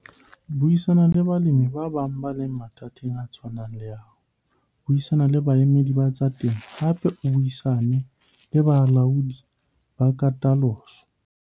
Buisana le balemi ba bang ba leng mathateng a tshwanang le a hao, buisana le baemedi ba tsa temo. Hape buisana le balaodi ba katoloso.